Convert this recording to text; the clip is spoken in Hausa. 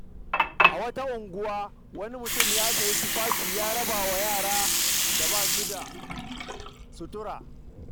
Wani mutum ya sayi tufafi ya raba wa yaran da ba su da sutura.